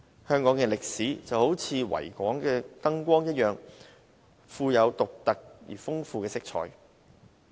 香港的歷史就如維港的燈光一樣，富有獨特而豐富的色彩。